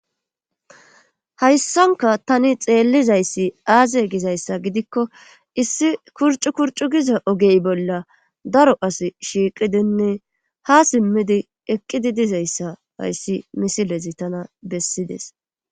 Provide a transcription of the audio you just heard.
Hayssanka tani xeellizayssi aaze gizayssa gidikko issi kurcu kurcu giza ogey bolla daro as shiiqidinne ha simmidi eqqidi dizayssa hayssi misilezi tana bessides.